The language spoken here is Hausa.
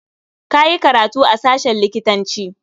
Ka yi karatu a sashen likitanci.